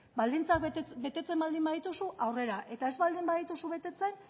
baldintzak betetzen baldin badituzu aurrera eta ez baldin badituzu betetzen